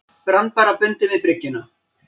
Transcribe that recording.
Brann bara bundinn við bryggjuna.